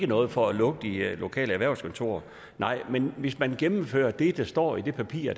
noget for at lukke de lokale erhvervskontorer nej men hvis man gennemfører det der står i det papir